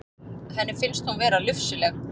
Henni finnst hún vera lufsuleg.